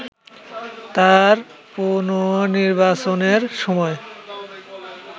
তার পুণনির্বাচনের সময়